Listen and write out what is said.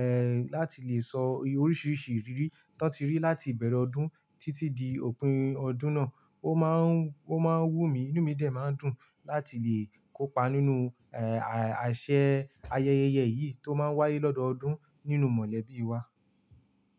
ẹ, láti lè sọ oríṣiríṣi ìrírí tán ti rí láti ìbẹ̀rẹ̀ ọdún títí di òpin ọdún náà. Ó máa ń, ó máa ń wú mi, inú mi dè máa ń dùn láti lè kópa nínú, ẹ, àṣẹ̀ ayẹyẹ yìí tó máa ń wáyé lọ́dọọdún nínúu mọ̀lẹ́bí wa.